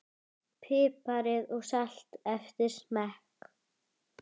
Piprið og saltið eftir smekk.